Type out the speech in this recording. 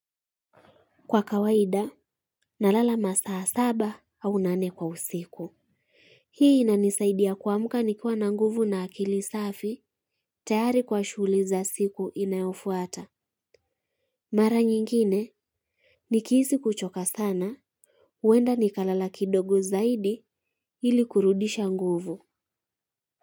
Kwa kawaida, nalala masaa saba au nane kwa usiku. Hii inanisaidia kuamka nikiwa na nguvu na akili safi, tayari kwa shughuli za siku inayofuata. Mara nyingine, nikihisi kuchoka sana, huenda nikalala kidogo zaidi ili kurudisha nguvu.